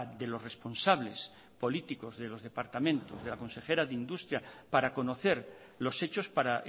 de los responsables políticos de los departamentos de la consejera de industria para conocer los hechos para